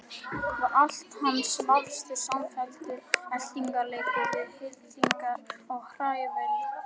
Var allt hans vafstur samfelldur eltingarleikur við hillingar og hrævarelda?